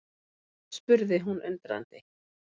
spurði hún undrandi.